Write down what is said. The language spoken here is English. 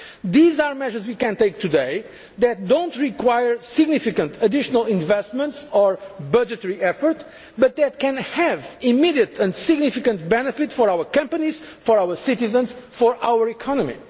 These are measures that we can take today, that do not require significant additional investment or budgetary effort but which can have an immediate and significant benefit for our companies, for our citizens and for our